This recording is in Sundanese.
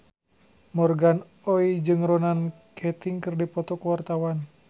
Morgan Oey jeung Ronan Keating keur dipoto ku wartawan